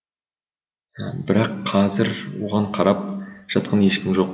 бірақ қазір оған қарап жатқан ешкім жоқ